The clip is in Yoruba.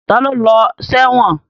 Ta ló lọ sẹ́wọ̀n?